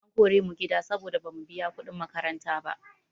An kore mu gida saboda bamu biya kuɗin makaranta ba.